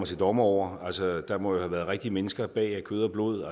til dommer over altså der må jo have været rigtige mennesker bagved af kød og blod